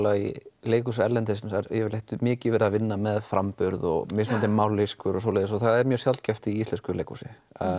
í leikhúsum erlendis er yfirleitt mikið verið að vinna með framburð og mismunandi mállýskur og svoleiðis og það er mjög sjaldgæft í íslensku leikhúsi